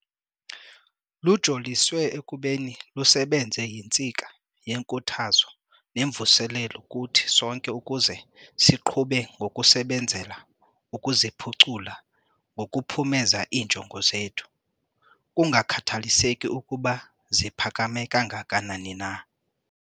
Lujoliswe ekubeni lusebenze yintsika yenkuthazo nemvuselelo kuthi sonke ukuze siqhube ngokusebenzela ukuziphucula ngokuphumeza iinjongo zethu, kungakhathaliseki ukuba ziphakame kanganani na.